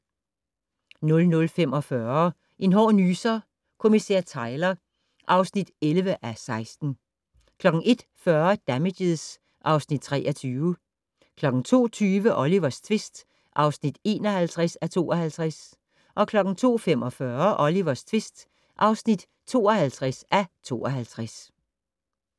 00:45: En hård nyser: Kommissær Tyler (11:16) 01:40: Damages (Afs. 23) 02:20: Olivers tvist (51:52) 02:45: Olivers tvist (52:52)